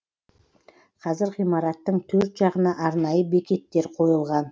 қазір ғимараттың төрт жағына арнайы бекеттер қойылған